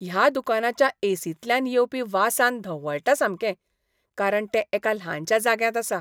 ह्या दुकानाच्या ए. सींतल्यान येवपी वासान धवळटा सामकें कारण तें एका ल्हानशा जाग्यांत आसा.